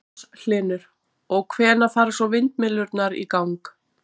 Magnús Hlynur: Og, hvenær fara svo vindmyllurnar í gang?